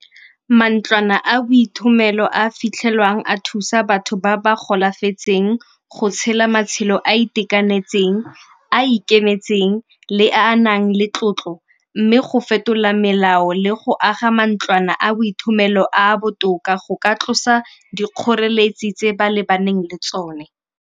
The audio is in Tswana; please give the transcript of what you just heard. Mantlwana a boithomelo a a fitlhelwang a thusa batho ba ba golafetseng go tshela matshelo a a itekanetseng, a a ikemetseng le a a nang le tlotlo mme go fetola melao le go aga mantlwana a boithomelo a a botoka go ka tlosa dikgoreletsi tse ba lebaneng le tsone.